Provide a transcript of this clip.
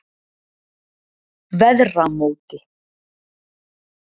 Veðramóti